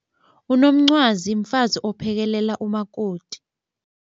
Unomncwazi mfazi ophekelela umakoti.